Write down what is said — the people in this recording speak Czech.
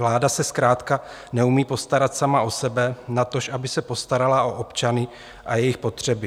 Vláda se zkrátka neumí postarat sama o sebe, natož aby se postarala o občany a jejich potřeby.